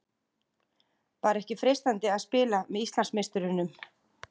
Var ekki freistandi að spila með Íslandsmeisturunum?